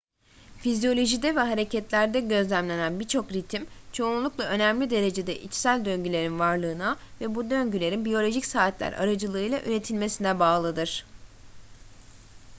fizyolojide ve hareketlerde gözlenen birçok ritim çoğunlukla önemli derecede içsel döngülerin varlığına ve bu döngülerin biyolojik saatler aracılığıyla üretilmesine bağlıdır